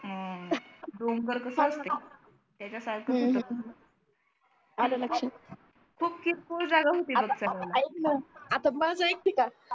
अं अह त्याच्या सारखंच होता आला लक्षात खूप cool जागा होती कि आता आईक ना आता माझा आइक कि काय